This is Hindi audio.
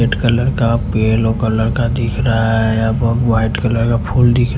रेड कलर का येलो कलर का दिख रहा है वाइट कलर का फूल दिख रहा --